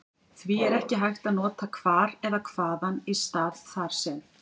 Því er ekki hægt að nota hvar eða hvaðan í stað þar sem.